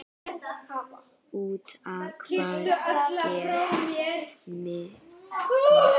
Út á hvað gekk mýtan?